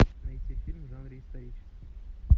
найти фильм в жанре исторический